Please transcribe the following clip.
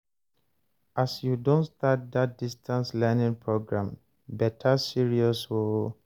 as you don start dat distance learning program, better serious o